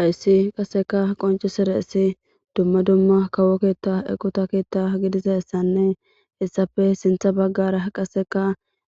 Haysi qasekka qoncissidayssi duumma duumma kawo keeththa eqqothta keeththa giididayssanne heyssappe sinththa baggara